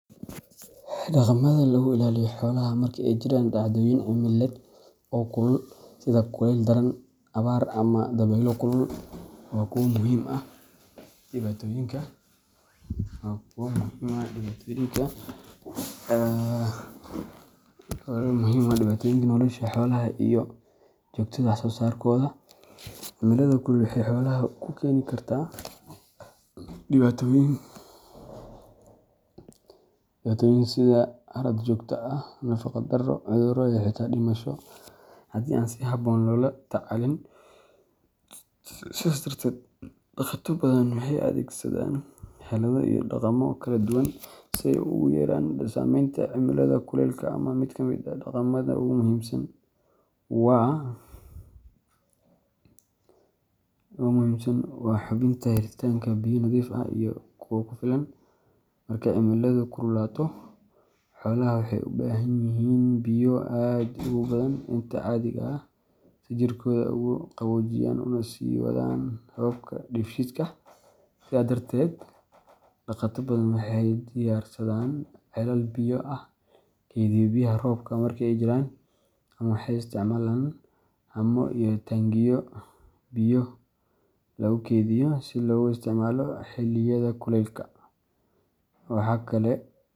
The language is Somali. Dhaqamada lagu ilaaliyo xoolaha marka ay jiraan dhacdooyin cimiladeed oo kulul sida kulayl daran, abaar, ama dabeylo kulul waa kuwo muhiim u ah badbaadinta nolosha xoolaha iyo joogteynta wax-soo-saarkooda. Cimilada kulul waxay xoolaha ku keeni kartaa dhibaatooyin sida haraad joogto ah, nafaqo-darro, cudurro, iyo xitaa dhimasho haddii aan si habboon loola tacaalin. Sidaas darteed, dhaqato badan waxay adeegsadaan xeelado iyo dhaqammo kala duwan si ay u yareeyaan saameynta cimilada kulaylka ah. Mid ka mid ah dhaqamada ugu muhiimsan waa hubinta helitaanka biyo nadiif ah iyo kuwo ku filan. Marka cimiladu kululaato, xoolaha waxay u baahan yihiin biyo aad uga badan inta caadiga ah si jirkooda ugu qaboojiyaan una sii wadaan hababka dheefshiidka. Sidaa darteed, dhaqato badan waxay diyaarsadaan ceelal biyo ah, kaydiya biyaha roobka marka ay jiraan, ama waxay isticmaalaan haamo iyo taangiyo biyo lagu kaydiyo si loogu isticmaalo xilliyada kulaylka. Waxa kale oo muhiim ah in biyo-dhigyada lagu hayo meelaha hooska leh si biyuhu aanay u kululaan.